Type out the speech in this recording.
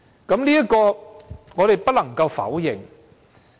對此，我們不能加以否認。